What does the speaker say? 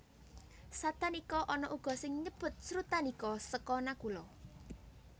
Satanika ana uga sing nyebut Srutanika seka Nakula